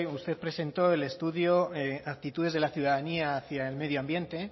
usted presentó el estudio actitudes de la ciudadanía hacia el medio ambiente